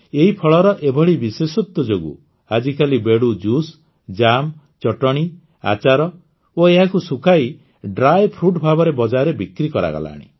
ଏହି ଫଳର ଏଭଳି ବିଶେଷତ୍ୱ ଯୋଗୁଁ ଆଜିକାଲି ବେଡ଼ୁ ଜୁସ୍ ଜାମ୍ ଚଟଣୀ ଆଚାର ଓ ଏହାକୁ ଶୁଖାଇ ଡ୍ରାଇ ଫ୍ରୁଟ୍ ଭାବରେ ବଜାରରେ ବିକ୍ରି କରାଗଲାଣି